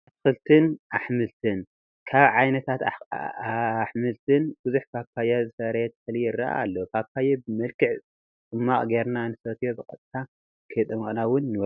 ኣትክልትን ኣሕምልትን፡- ካብ ዓይነታት ኣሕምልትን ብዙሕ ፓፓየ ዘፍረየ ተኽሊ ይረአ ኣሎ፡፡ ፓፓየ ብመልክዕ ፅሟቕ ገይርና ንሰትዮን ብቀጥታ ከይፀሞቕና ውን ንበልዖ፡፡